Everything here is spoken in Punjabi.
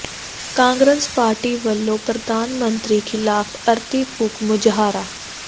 ਕਾਂਗਰਸ ਪਾਰਟੀ ਵੱਲੋਂ ਪ੍ਰਧਾਨ ਮੰਤਰੀ ਿਖ਼ਲਾਫ਼ ਅਰਥੀ ਫੂਕ ਮੁਜ਼ਾਹਰਾ